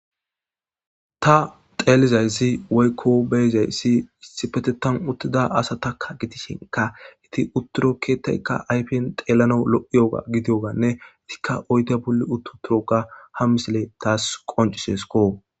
ta xeelizayssi waykko beyzayssi issi pete tan uttida asa takka gitishenka hiti utturo keetaykka ayfen xeelano lo7iyoga gidiyoganne itikka oyte bulli uttu turoka ha misile taas qoncisesko